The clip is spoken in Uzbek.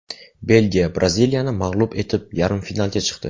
Belgiya Braziliyani mag‘lub etib, yarim finalga chiqdi.